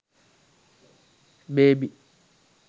baby